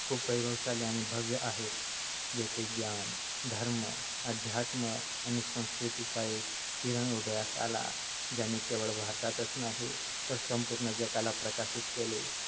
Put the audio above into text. खूप वैभवशाली आणि भव्य आहे. जेथे ज्ञान, धर्म, अध्यात्म आणि संस्कृतीचा एक किरण उदयास आला आणि ज्याने केवळ भारतच नाही तर संपूर्ण जगाला प्रकाशित केले.